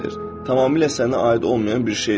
Tamamilə sənə aid olmayan bir şeydir.